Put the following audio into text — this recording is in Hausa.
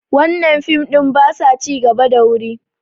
wannan fim ɗin ba sa ci gaba da wuri